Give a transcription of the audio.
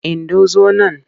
Indo zo nan!